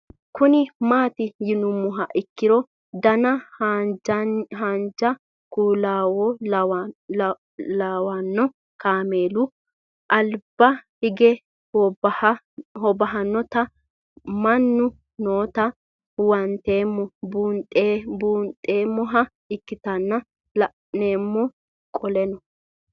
Kuni mati yinumoha ikiro Dana hanjani kuulawono lawano kaamelu aliba hige hobahay nootana mannino noota huwantemo bunxemoha ikinota la'nemo qoleno